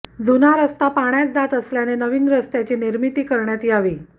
जुना रस्ता पाण्यात जात असल्याने नवीन रस्त्याची निर्मिती करण्यात यावी